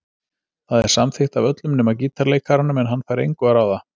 Það er samþykkt af öllum nema gítarleikaranum en hann fær engu að ráða.